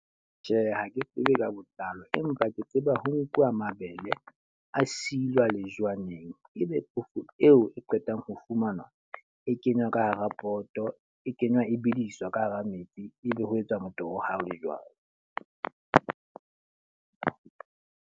Tjhe, ha ke tsebe ka botlalo. Empa ke tseba ho nkuwa mabele a silwa lejwaneng. E be phoofo eo e qetang ho fumana, e kenywa ka hara poto e kenywa e bediswa ka hara metsi. E be ho etswa motoho ha o le jwalo.